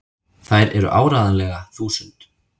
Þær eru áreiðanlega þúsund!!